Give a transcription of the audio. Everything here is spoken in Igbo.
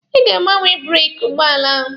Ị ga-agbanwe breeki ụgbọala ahụ!